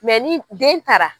ni den taara